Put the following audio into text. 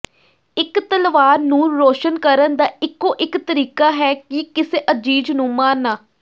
ਇਕ ਤਲਵਾਰ ਨੂੰ ਰੋਸ਼ਨ ਕਰਨ ਦਾ ਇਕੋ ਇਕ ਤਰੀਕਾ ਹੈ ਕਿ ਕਿਸੇ ਅਜ਼ੀਜ਼ ਨੂੰ ਮਾਰਨਾ